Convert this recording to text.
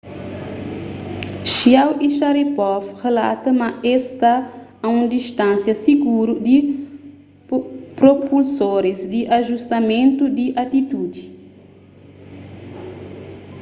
chiao y sharipov relata ma es sta a un distánsia siguru di propulsoris di ajustamentu di atitudi